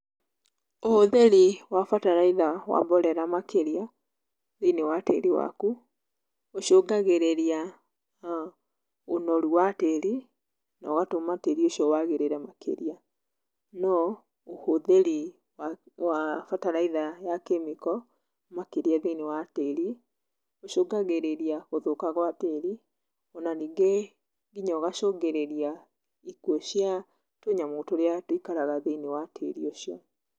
Ũhũthĩri wa bataraitha wa mborera makĩria thĩiniĩ wa tĩri waku, ũcũngagĩrĩria ũnoru wa tĩri na ũgatũma tĩri ũcio wagĩrĩre makĩria. No ũhũthĩri wa bataraitha ya kemiko makĩria thĩiniĩ wa tĩri, ũcũngagĩrĩria gũthũka gwa tĩri, ona ningĩ nginya ũgacũngĩrĩria ikuũ cia tũnyamũ tũrĩa tũikaraga thĩiniĩ wa tĩri ũcio.